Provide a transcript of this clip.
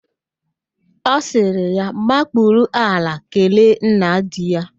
A sịrị ya makpuru ala kelee nna di ya